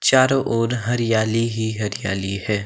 चारों ओर हरियाली ही हरियाली है।